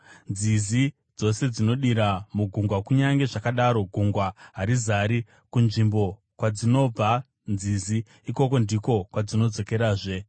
Nzizi dzose dzinodira mugungwa, kunyange zvakadaro gungwa harizari. Kunzvimbo kwadzinobva nzizi, ikoko ndiko kwadzinodzokerazve.